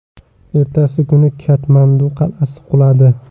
Ertasi kuni Katmandu qal’asi quladi.